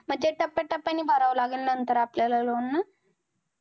ते टप्या टप्या नि भराव लागेल नंतर आपल्याला loan ना?